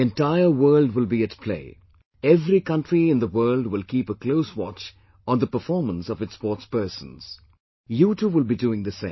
The entire world will be at play... every country in the world will keep a close watch on the performance of its sportspersons; you too will be doing the same